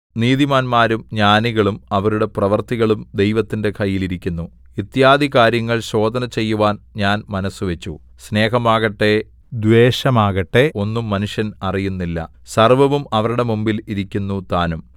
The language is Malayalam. നീതിമാന്മാരും ജ്ഞാനികളും അവരുടെ പ്രവൃത്തികളും ദൈവത്തിന്റെ കയ്യിൽ ഇരിക്കുന്നു ഇത്യാദി കാര്യങ്ങൾ ശോധന ചെയ്യുവാൻ ഞാൻ മനസ്സുവച്ചു സ്നേഹമാകട്ടെ ദ്വേഷമാകട്ടെ ഒന്നും മനുഷ്യർ അറിയുന്നില്ല സർവ്വവും അവരുടെ മുമ്പിൽ ഇരിക്കുന്നു താനും